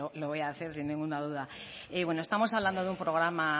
lo voy a hacer sin ninguna duda estamos hablando de un programa